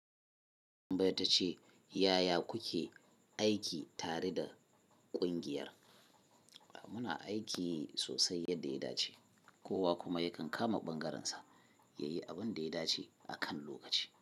Tambaya ta ce "yaya kuke aiki tare da ƙungiyar?" Muna aiki sosai yadda ya dace, kowa kuma yakan kama ɓangarensa, ya yi abin da ya dace a kan lokaci.